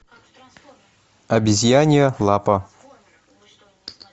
обезьянья лапа